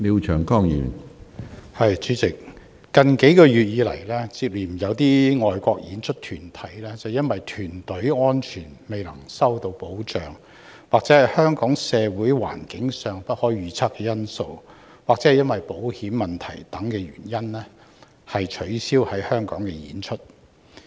主席，近月接連有海外表演團體，因憂慮安全未能受到保障及香港社會環境的不確定性，以及保險問題等原因，而取消來港演出。